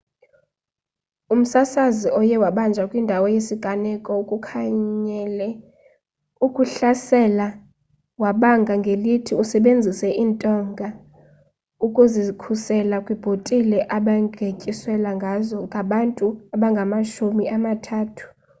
umsasazi oye wabanjwa kwindawo yesiganeko ukukhanyele ukuhlasela wabanga ngelithi usebenzise intonga ukuzikhusela kwibhotile abegityiselwangazo ngabantu abangamashumi amathathu